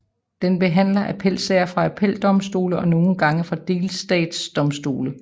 Den behandler appelsager fra appeldomstolene og nogle gange delstatsdomstole